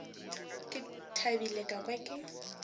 ke thabile ka kwa ke